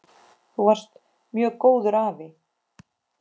Þú varst mjög góður afi.